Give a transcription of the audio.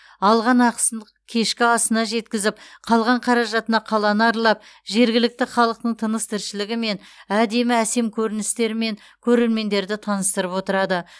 алған ақысын кешкі асына жеткізіп қалған қаражатына қаланы аралап жергілікті халықтың тыныс тіршілігімен әдемі әсем көріністерімен көрермендерді таныстырып отырады